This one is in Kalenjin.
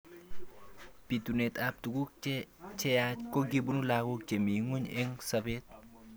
Bitunet ab tuku cheyach kokibun lakok chemi ng'uny eng sabet.